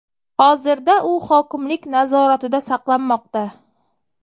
Hozirda u hokimlik nazoratida saqlanmoqda.